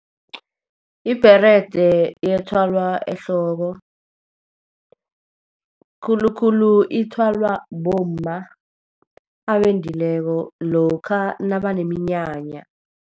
Ibherede iyathwalwa ehloko. Khulukhulu ithwalwa bomma abendileko lokha nabaneminyanya.